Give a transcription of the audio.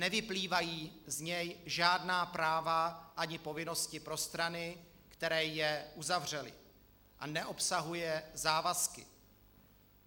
Nevyplývají z něj žádná práva ani povinnosti pro strany, které je uzavřely, a neobsahuje závazky.